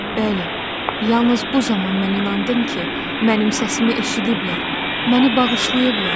Bəli, yalnız bu zaman mən inandım ki, mənim səsimi eşidiblər, məni bağışlayıblar.